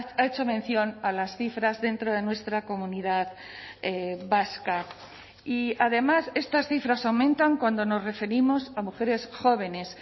ha hecho mención a las cifras dentro de nuestra comunidad vasca y además estas cifras aumentan cuando nos referimos a mujeres jóvenes